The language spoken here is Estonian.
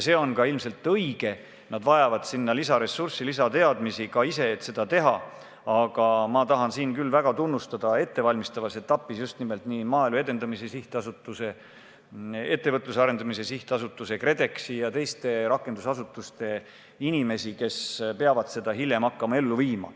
See on ilmselt õige, et nad vajavad lisaresurssi ja ka lisateadmisi, et seda kõike teha, aga ma tahan küll väga tunnustada ettevalmistavas etapis just nimelt nii Maaelu Edendamise Sihtasutuse, Ettevõtluse Arendamise Sihtasutuse, KredExi kui ka teiste rakendusasutuste inimesi, kes peavad seda hakkama ellu viima.